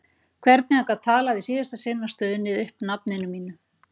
Hvernig hann gat talað í síðasta sinn og stunið upp nafninu mínu.